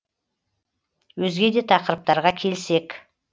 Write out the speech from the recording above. өзге де тақырыптарға келсек